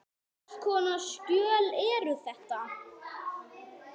Hvers konar skjöl eru þetta?